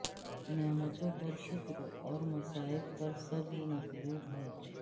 نعمتوں پر شکر اور مصائب پر صبر مطلوب ہے